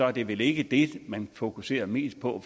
er det vel ikke det man fokuserer mest på